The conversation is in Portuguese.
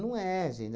é, gente.